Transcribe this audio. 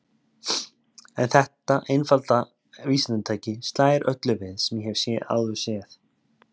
En þetta einfalda vísindatæki slær öllu við sem ég hef áður séð.